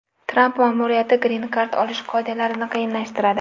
Tramp ma’muriyati Green Card olish qoidalarini qiyinlashtiradi.